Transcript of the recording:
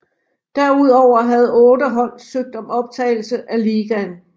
Derudover havde otte hold søgt om optagelse af ligaen